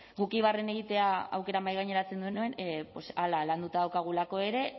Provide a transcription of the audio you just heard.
guk eibarren egitea aukera mahaigaineratzen genuen pues hala landuta daukagulako ere